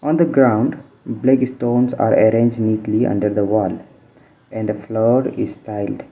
on the ground black stones are arranged neatly under the wall and the floor is tiled.